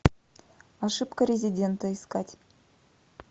ошибка резидента искать